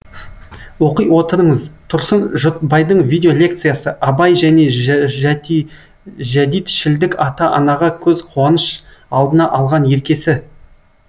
оқи отырыңыз тұрсын жұртбайдың видео лекциясы абай және жәдитшілдік ата анаға көз қуаныш алдына алған еркесі